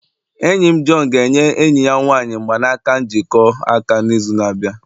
enyi m John ga-enye enyi ya nwanyị mgbanaka njikọ aka n'izu na-abịa